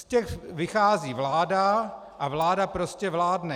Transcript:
Z těch vychází vláda a vláda prostě vládne.